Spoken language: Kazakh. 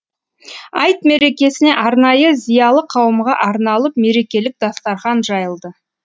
айт мерекесіне арнайы зиялы қауымға арналып мерекелік дастархан жайылды